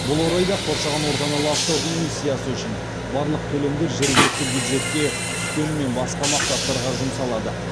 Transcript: бұл орайда қоршаған ортаны ластау эмиссиясы үшін барлық төлемдер жергілікті бюджетке түскенімен басқа мақсаттарға жұмсалады